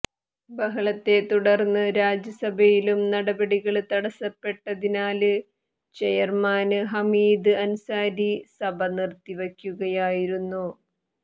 ബഹളത്തെ തുടര്ന്ന് രാജ്യസഭയിലും നടപടികള് തടസപ്പെട്ടതിനാല് ചെയര്മാന് ഹമീദ് അന്സാരി സഭ നിര്ത്തിവയ്ക്കുകയായിരുന്നു